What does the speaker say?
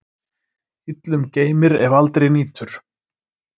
Illum geymir, ef aldrei nýtur.